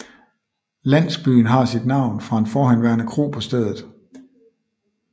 Landsbyen har sit navn fra en forhenværende kro på stedet